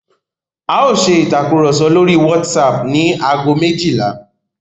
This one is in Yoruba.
A ó ṣe ìtàkurọ̀sọ lórí WhatsApp ní ago méjìlá.